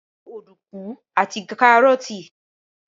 Gbin ọ̀dùnkún àti kárọ́ọ́tì